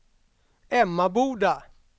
Emmaboda